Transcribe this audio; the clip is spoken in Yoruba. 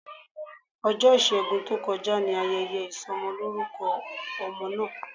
Ọjọ́ ìṣẹ́gun tó kọjá ni ayẹyẹ ìsọmọlórúkọ ọmọ náà